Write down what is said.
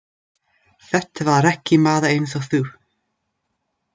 Þetta var ekki maður einsog þú.